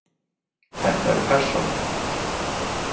Þetta er persónulegt.